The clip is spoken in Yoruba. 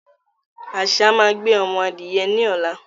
Àṣá máa gbé omo adìye ní ọ̀la